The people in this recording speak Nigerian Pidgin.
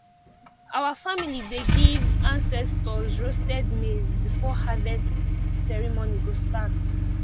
our family dey give ancestors roasted maize before harvest ceremony go start